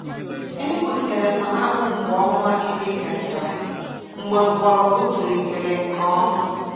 E gbutere m akpụ mgbe ọnwa iri gachara, mgbe mgbọrọgwụ tolitere nke ọma.